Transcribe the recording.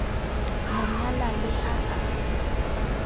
mo nyala le ha a